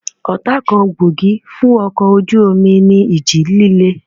Ọ̀tá kan gbòógì fún ọkọ̀ ojú omi ní ìjì líle